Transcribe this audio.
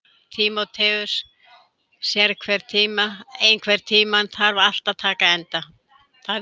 Tímoteus, einhvern tímann þarf allt að taka enda.